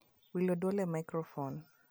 wilo dwol e maikrofon